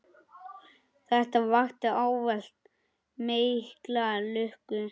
Þetta vakti ávallt mikla lukku.